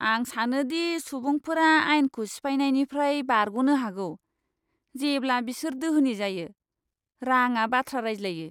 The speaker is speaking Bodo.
आं सानो दि सुबुंफोरा आइनखौ सिफायनायनिफ्राय बारग'नो हागौ, जेब्ला बिसोर दोहोनि जायो। राङा बाथ्रा रायज्लायो!